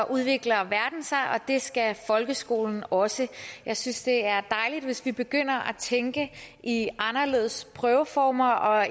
udvikler verden sig og det skal folkeskolen også jeg synes det er dejligt hvis vi begynder at tænke i anderledes prøveformer og